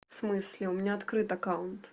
в смысле у меня открыт аккаунт